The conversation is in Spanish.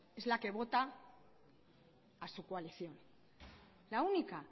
es la que vota a su coalición la única